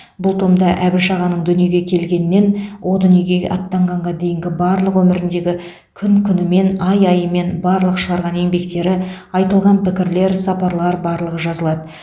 бұл томда әбіш ағаның дүниеге келгеннен о дүниеге аттанғанға дейінгі барлық өміріндегі күн күнімен ай айымен барлық шығарған еңбектері айтылған пікірлер сапарлар барлығы жазылады